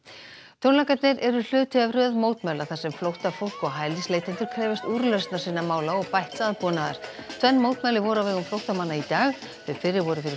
tónleikarnir eru hluti af röð mótmæla þar sem flóttafólk og hælisleitendur krefjast úrlausnar sinna mála og bætts aðbúnaðar tvenn mótmæli voru á vegum flóttamanna í dag þau fyrri voru fyrir